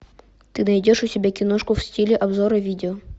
ты найдешь у себя киношку в стиле обзора видео